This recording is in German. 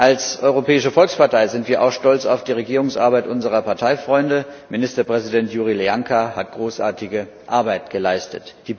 Als Europäische Volkspartei sind wir auch stolz auf die Regierungsarbeit unserer Parteifreunde Ministerpräsident Iurie Leancă hat großartige Arbeit geleistet.